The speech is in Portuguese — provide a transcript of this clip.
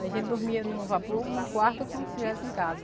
A gente dormia no vapor em um quarto como se estivesse em casa.